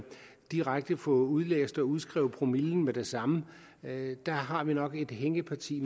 direkte få udlæst og udskrevet promillen med det samme der har vi nok et hængeparti